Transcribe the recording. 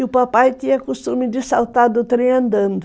E o papai tinha costume de saltar do trem andando.